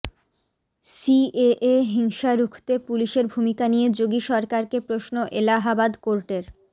CAA হিংসা রুখতে পুলিশের ভূমিকা নিয়ে যোগী সরকারকে প্রশ্ন এলাহাবাদ হাইকোর্টের